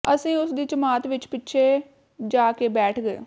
ਅਸੀਂ ਉਸ ਦੀ ਜਮਾਤ ਵਿੱਚ ਪਿੱਛੇ ਜਾ ਕੇ ਬੈਠ ਗਏ